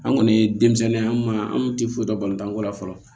An kɔni ye denmisɛnnin an ma an tɛ foyi dɔn ko la fɔlɔ